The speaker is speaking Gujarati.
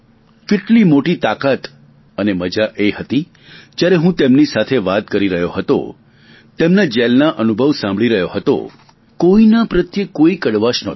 કેટલી મોટી તાકાત અને મજા એ હતી કે જ્યારે હું તેમની સાથે વાત કરી રહ્યો હતો તેમના જેલના અનુભવ સાંભળી રહ્યો હતો કોઈના પ્રત્યે કોઇ કડવાશ નહોતી